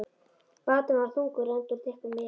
Báturinn var þungur, enda úr þykkum viði.